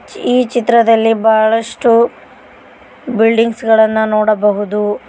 ಈ ಚಿತ್ರದಲ್ಲಿ ಬಹಳಷ್ಟು ಬಿಲ್ಡಿಂಗ್ಸ್ ಗಳನ್ನ ನೋಡಬಹುದು.